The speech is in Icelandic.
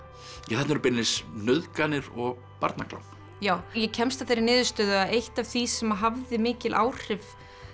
þarna eru beinlínis nauðganir og barnaklám já ég kemst að þeirri niðurstöðu að eitt af því sem hafði mikil áhrif